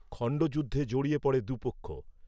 খণ্ডযুদ্ধে জড়িয়ে পড়ে দু’পক্ষ